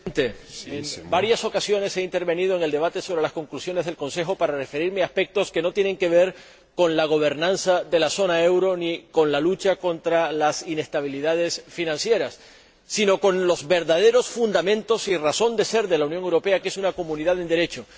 Señor Presidente, en varias ocasiones he intervenido en el debate sobre las conclusiones del Consejo Europeo para referirme a aspectos que no tienen que ver con la gobernanza de la zona del euro ni con la lucha contra las inestabilidades financieras, sino con los verdaderos fundamentos y razón de ser de la Unión Europea, que es una comunidad en Derecho.